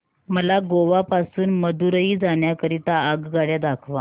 मला गोवा पासून मदुरई जाण्या करीता आगगाड्या दाखवा